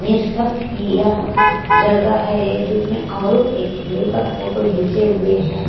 किया जगह है एक जिसमे अमरुद एक किलो पर फोटो गिचे हुए है।